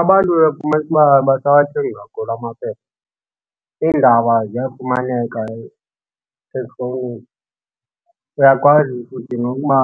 Abantu uyafumanisa uba abasawathengi kakhulu amaphepha. Iindaba ziyafumaneka ezifowunini, uyakwazi futhi nokuba